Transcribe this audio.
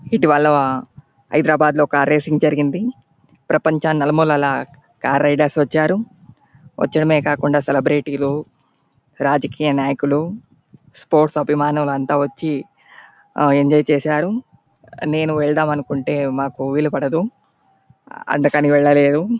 ఇటువల హైద్రాబాదులో car racing జరిగింది ప్రపంచం నలుమూలల కార్ రైడర్స్ వచ్చారు. వచ్చిడమే కాకుండా సెలెబ్రెటీలు రాజకీయ నాయకులు స్పోర్ట్స్ అభిమానులు అంత వచ్చి ఆ ఎంజాయ్ చేసారు. నేను వెల్దామనుకుంటే మాకు వీలుపడదు. అందుకని వెళ్ళలేదు.